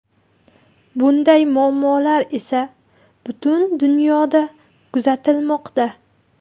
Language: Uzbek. Bunday muammolar esa butun dunyoda kuzatilmoqda.